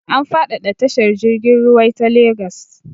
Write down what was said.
An faɗaɗa tashar jirg ruwai ta Lagos.